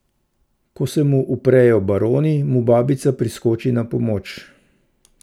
Ko se mu uprejo baroni, mu babica priskoči na pomoč.